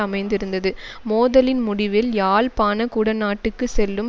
அமைந்திருந்தது மோதலின் முடிவில் யாழ்ப்பாண குடநாட்டுக்கு செல்லும்